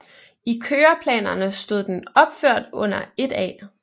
I køreplanerne stod den opført under 1A